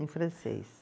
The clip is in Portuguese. Em francês.